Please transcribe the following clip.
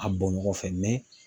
A bɔ ɲɔgɔn fɛ